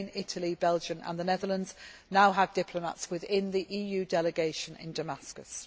Spain, Italy, Belgium and the Netherlands now have diplomats within the EU delegation in Damascus.